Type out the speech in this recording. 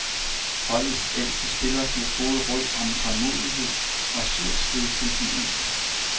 Holdets ældste spiller giver gode råd om tålmodighed og surt slid til den yngste.